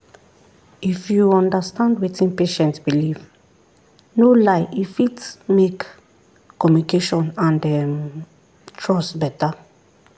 if you understand wetin patient believe no lie e fit make communication and um trust better.